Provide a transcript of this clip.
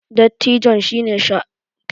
dattijon shi ne jagoran gida